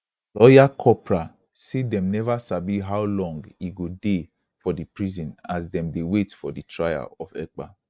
lawyer kopra say dem neva sabi how long e go dey for di prison as dem dey wait for di trial of ekpa